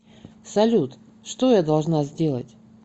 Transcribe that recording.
салют что я должна сделать